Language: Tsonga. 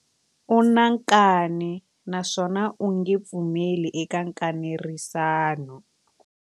U na nkani naswona a nge pfumeli eka nkanerisano.